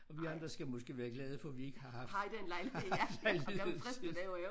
Og vi andre skal måske være glade for vi ikke har haft har haft anledning til